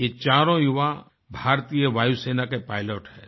ये चारों युवा भारतीय वायुसेना के पायलट हैं